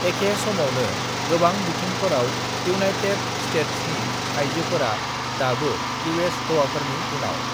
"एखे समावनो, गोबां बिथिंफोराव इउनायटेद स्तेत्सनि आयजोफोरा दाबो इउ.एस. हौवाफोरनि उनाव।"